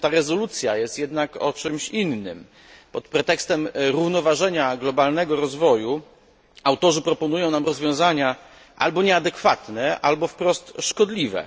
Ta rezolucja jest jednak o czymś innym. Pod pretekstem równoważenia globalnego rozwoju autorzy proponują nam rozwiązania albo nieadekwatne, albo wprost szkodliwe.